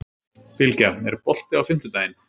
Bylgja, er bolti á fimmtudaginn?